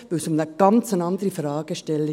Denn es ging um eine ganz andere Fragestellung.